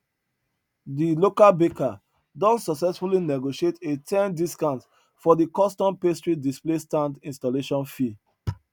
de local baker don successfully negotiate a ten discount for de custom pastry display stand installation fee